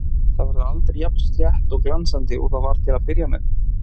Það verður aldrei jafn slétt og glansandi og það var til að byrja með.